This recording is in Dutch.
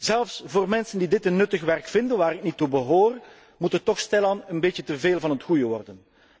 Zelfs voor mensen die dit nuttig werk vinden waar ik niet toe behoor moet het toch stilaan een beetje te veel van het goede worden.